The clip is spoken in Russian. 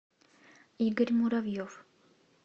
игорь муравьев